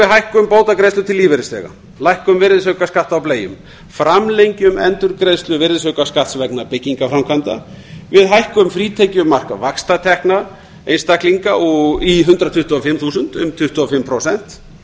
við hækkun bótagreiðslur til lífeyrisþega lækkun virðisaukaskatts á bleium framlengjum endurgreiðslu virðisaukaskatts á bleium framlengjum endurgreiðslu virðisaukaskatts vegna byggingarframkvæmda við hækkun frítekjumark vaxtatekna einstaklinga í hundrað tuttugu og fimm þúsund um hundrað tuttugu og fimm prósent